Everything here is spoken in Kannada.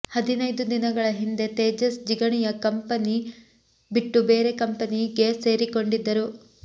ಹದಿನೈದು ದಿನಗಳ ಹಿಂದೆ ತೇಜಸ್ ಜಿಗಣಿಯ ಕಂಪೆನಿ ಬಿಟ್ಟು ಬೇರೆ ಕಂಪನಿಗೆ ಸೇರಿಕೊಂಡಿದ್ದರು